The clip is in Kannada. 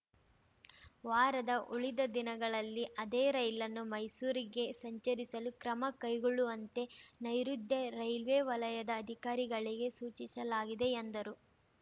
ವಾರದ ಉಳಿದ ದಿನಗಳಲ್ಲಿ ಅದೇ ರೈಲನ್ನು ಮೈಸೂರಿಗೆ ಸಂಚರಿಸಲು ಕ್ರಮ ಕೈಗೊಳ್ಳುವಂತೆ ನೈಋುತ್ಯ ರೈಲ್ವೇ ವಲಯದ ಅಧಿಕಾರಿಗಳಿಗೆ ಸೂಚಿಸಲಾಗಿದೆ ಎಂದರು